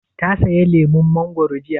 Ta saya lemun mangoro jiya?